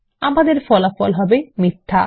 আমাদের ফলাফল হবে মিথ্যা